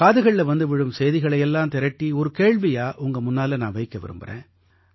காதுகள்ல வந்து விழும் செய்திகளை எல்லாம் திரட்டி ஒரு கேள்வியா உங்க முன்னால நான் வைக்க விரும்பறேன்